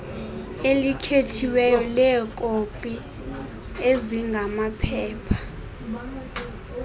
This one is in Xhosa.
elikhethiweyo leekopi ezingamaphepha